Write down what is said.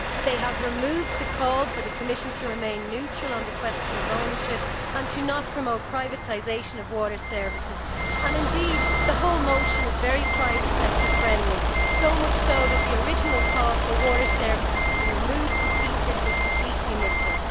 They have removed the call for the Commission to remain neutral on the question of ownership and not to promote privatisation of water services. Indeed the whole motion is very private sector friendly, so much so that the original call for water services to be removed from TTIP is completely missing.